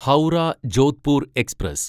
Howrah Jodhpur express